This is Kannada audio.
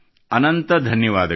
ಅನಂತ ಧನ್ಯವಾದಗಳು